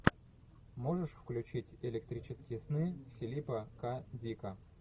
можешь включить электрические сны филипа к дика